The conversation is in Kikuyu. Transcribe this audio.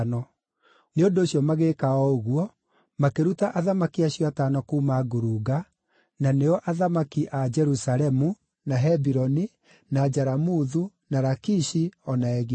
Nĩ ũndũ ũcio magĩĩka o ũguo, makĩruta athamaki acio atano kuuma ngurunga-inĩ, na nĩo athamaki a Jerusalemu, na Hebironi, na Jaramuthu, na Lakishi o na Egiloni.